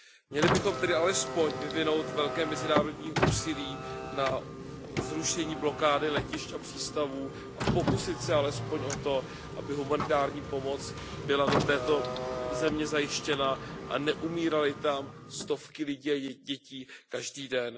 Měli bychom tedy alespoň vyvinout veliké mezinárodní úsilí na zrušení blokády letišť a přístavů a pokusit se alespoň o to, aby humanitární pomoc byla do této země zajištěna a neumíraly tam stovky lidí a dětí každý den.